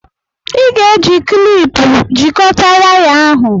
Ị ga-eji kịlịpù jikọta waya ahụ